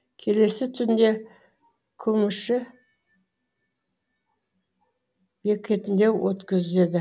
келесі түнді күмүші бекетінде өткізеді